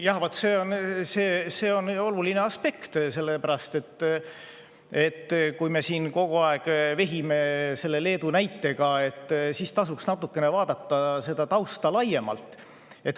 Jah, vaat see on oluline aspekt, sest kui me siin kogu aeg vehime selle Leedu näitega, siis tasuks vaadata seda tausta natukene laiemalt.